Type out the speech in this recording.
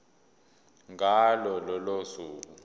ngalo lolo suku